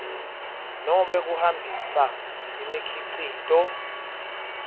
nobe kuhambisa imikhicito